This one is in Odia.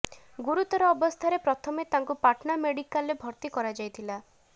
ଗୁରୁତର ଅବସ୍ଥାରେ ପ୍ରଥମେ ତାଙ୍କୁ ପାଟଣା ମେଡିକାଲରେ ଭର୍ତ୍ତି କରାଯାଇଥିଲା